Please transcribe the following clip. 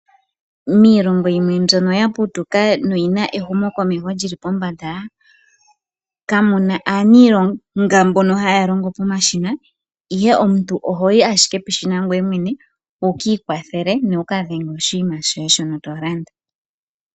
Miilongo yimwe mbyono ya putuka noyina ehumokomesho lyili pombanda kamuna aanilonga mbono haya longo pomashina ihe omuntu ohoyi ashike peshina ngoye mwene wukiikwathele nowuka dhenge oshinima shoye shoka tolanda.